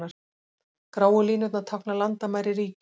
Gráu línurnar tákna landamæri ríkja.